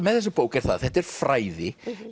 með þessa bók er það að þetta eru fræði